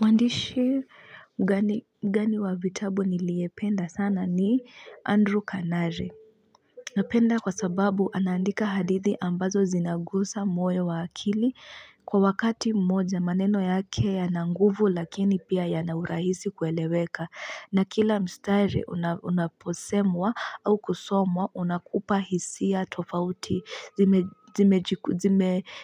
Mwandishi gani gani wa vitabu niliyependa sana ni Andrew Canare. Napenda kwa sababu anaandika hadithi ambazo zinagusa moyo wa akili kwa wakati mmoja maneno yake yana nguvu lakini pia yana urahisi kueleweka. Na kila mstari unapo unaposemwa au kusomwa unakupa hisia tofauti.